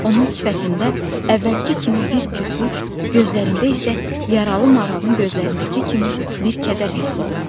Onun sifətində əvvəlki kimi bir kütlük, gözlərində isə yaralı maralın gözlərindəki kimi bir kədər hiss olunurdu.